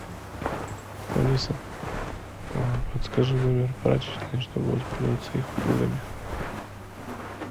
алиса подскажи номер прачечной чтобы воспользоваться их услугами